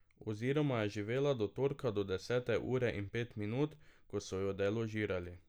Oziroma je živela do torka do desete ure in pet minut, ko so jo deložirali.